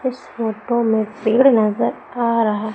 इस फोटो में पेड़ नजर आ रहा--